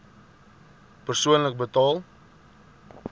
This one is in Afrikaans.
persoonlik betaal